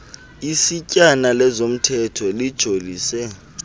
isetyana lezomthetho lijolise